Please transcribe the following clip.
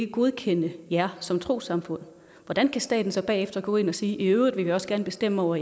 godkende jer som trossamfund hvordan kan staten så bagefter gå ind og sige at i øvrigt vil vi også gerne bestemme over